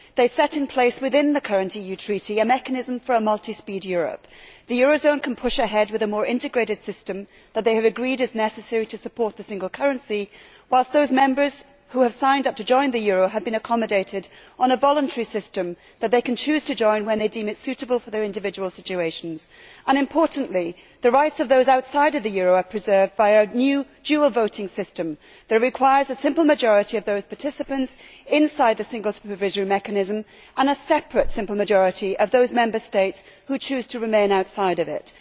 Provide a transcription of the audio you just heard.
They set in place, within the current EU Treaty, a mechanism for a multispeed Europe. The eurozone can push ahead with the more integrated system that they have agreed is necessary to support the single currency, whilst those members who have signed up to join the euro have been accommodated in a voluntary system that they can choose to join when they deem it suitable for their individual situations and, importantly, the rights of those outside the euro are preserved by a new dual voting system which requires a simple majority of those participants inside the Single Supervisory Mechanism and a separate simple majority of those Member States who choose to remain outside it.